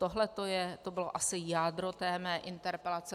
Tohle bylo asi jádro mé interpelace.